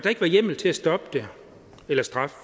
ikke var hjemmel til at stoppe det eller straffe